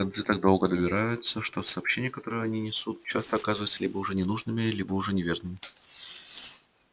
гонцы так долго добираются что сообщения которые они несут часто оказываются либо уже ненужными либо уже неверными